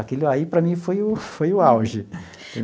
Aquilo aí, para mim, foi o foi o auge.